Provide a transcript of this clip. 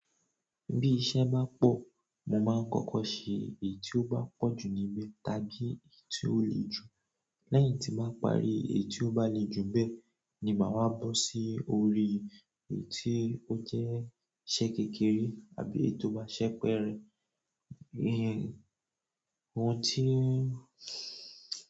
Bí iṣẹ́ bá pọ̀, mo máa ń kọ́kọ́ ṣe èyí tí ó bá pọ̀jù níbẹ̀ tàbí èyí tí ó le jù. Lẹ́yìn tí màá parí èyí tí ó bá le jù n bẹ́ẹ̀ ni màá wá bọ́ sí orí èyí tí ó jẹ́ iṣẹ́ kékeré àbí èyí tí ó bá ṣẹ́ pẹ́ rẹ̀. Òhun tí.